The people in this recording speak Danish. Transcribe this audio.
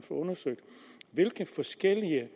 undersøgt hvilke forskellige